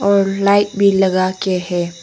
और लाइट भी लगा के है।